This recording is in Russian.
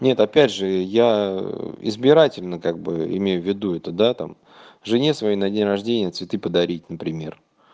нет опять же я избирательно как бы имею в виду это да там жене своей на день рождения цветы подарить например